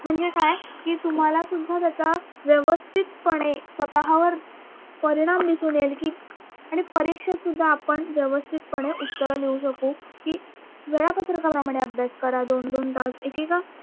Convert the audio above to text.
म्हणजे काय कि तुम्हालासुद्धा त्याचा व्यवस्थितपणे स्वतःवर परिणाम दिसून येईल कि आणि परीक्षेतसुद्धा आपण व्यवस्थितपणे उत्तर लिहू शकू कि वेळापत्रकाप्रमाणे अभ्यास करा दोन दोन तास एकेका